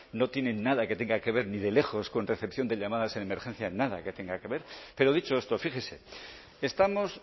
no tienen nada que tenga que ver ni de lejos con recepción de llamadas en emergencia nada que tenga que ver pero dicho esto fíjese estamos